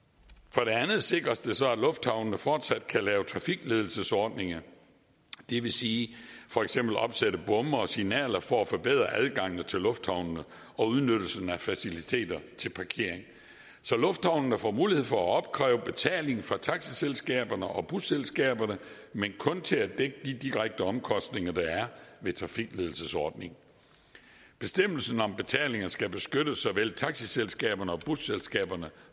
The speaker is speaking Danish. for det andet sikres det så at lufthavnene fortsat kan lave trafikledelsesordninger det vil sige for eksempel opsætte bomme og signaler for at forbedre adgangen til lufthavnene og udnyttelsen af faciliteterne til parkering så lufthavnene får mulighed for at opkræve betaling fra taxiselskaberne og busselskaberne men kun til at dække de direkte omkostninger der er ved trafikledelsesordninger bestemmelsen om betaling skal beskytte såvel taxiselskaberne og busselskaberne